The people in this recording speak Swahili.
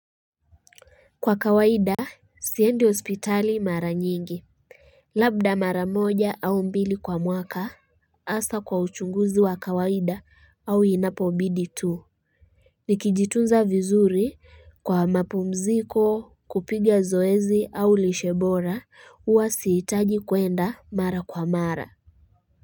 Kwa kawaida sipendi hospitali mara nyingi Labda mara moja au mbili kwa mwaka hasa kwa uchunguzi wa kawaida au inapombidi tu Nikijitunza vizuri kwa mapumziko kupiga zoezi au lishe bora huwa sihitaji kuenda mara kwa mara.